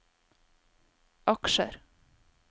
aksjer